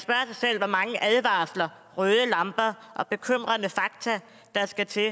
selv hvor mange advarsler røde lamper og bekymrende fakta der skal til